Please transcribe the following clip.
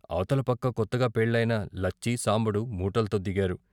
అవతల పక్క కొత్తగా పెళ్ళయిన లచ్చి, సాంబడు మూటల్తో దిగారు.